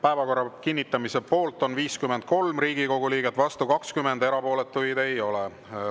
Päevakorra kinnitamise poolt on 53 Riigikogu liiget, vastu 20, erapooletuid ei ole.